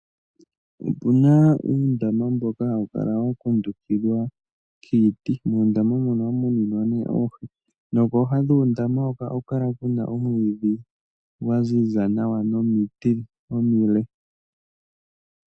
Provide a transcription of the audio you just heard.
Opu na uundama mboka hawu kala wa kundukidhwa kiiti. Muundama moka ohamu muninwa oohi nokooha dhuundama mboka ohaku kala ku na omwiidhi gwa ziza nawa nomiti omile.